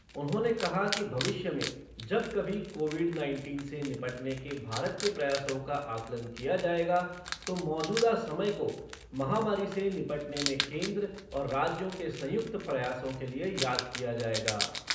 उन्होंने कहा कि भविष्य में जब कभी कोविड नाइनटीन से निपटने के भारत के प्रयासों का आकलन किया जाएगा तो मौजूदा समय को, महामारी से निपटने में केंद्र और राज्यों के संयुक्त प्रयासों के लिए याद किया जाएगा।